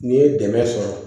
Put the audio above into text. N'i ye dɛmɛ sɔrɔ